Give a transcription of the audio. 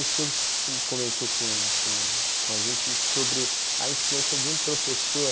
O senhor comentou com com com a gente sobre a influência de um professor